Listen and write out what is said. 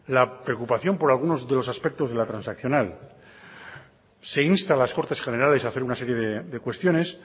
la preocupación por algunos de los aspectos de la transaccional se insta a las cortes generales de hacer una serie de cuestiones